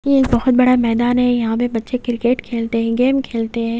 ये एक बहोत बड़ा मैदान है यहां पे बच्चे क्रिकेट खेलते हैं गेम खेलते हैं।